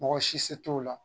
Mɔgɔ si se t'o la